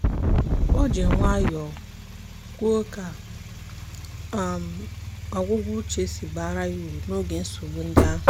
o ji nwayọ kwuo ka ọgwụgwọ uche si baara ya uru n'oge nsogbu ndị ahụ.